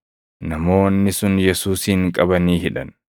Namoonni sun Yesuusin qabanii hidhan.